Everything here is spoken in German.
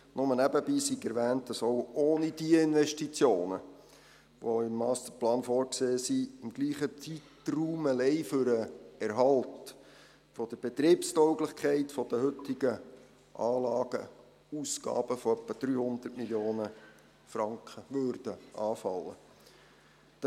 Nur nebenbei sei erwähnt, dass auch ohne diese im Masterplan vorgesehenen Investitionen im selben Zeitraum allein für den Erhalt der Betriebstauglichkeit der heutigen Anlagen Ausgaben von etwa 300 Mio. Franken anfallen würden.